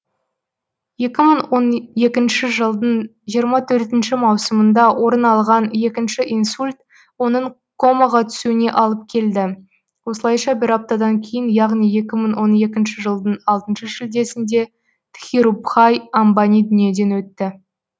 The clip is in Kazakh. екі мың он екінші жылдың жиырма төртінші маусымында орын алған екінші инсульт оның комаға түсуіне алып келді осылайша бір аптадан кейін яғни екі мың он екінші жылдың алтыншы шілдесінде дхирубхай амбани дүниеден өтті